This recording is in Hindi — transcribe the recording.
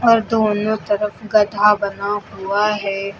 और दोनों तरफ गधा बना हुआ है।